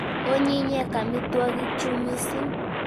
Onyinyen amitwogik chu missing'.